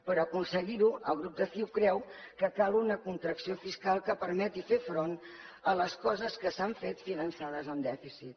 per aconseguir ho el grup de ciu creu que cal una contracció fiscal que permeti fer front a les coses que s’han fet finançades amb dèficit